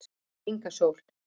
Inga Sól